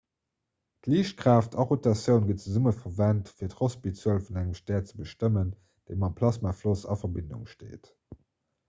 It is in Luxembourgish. d'liichtkraaft a rotatioun ginn zesumme verwent fir d'rossby-zuel vun engem stär ze bestëmmen déi mam plasmafloss a verbindung steet